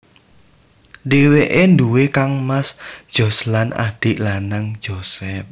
Dheweke duwé kangmas Josh lan adhik lanang Joseph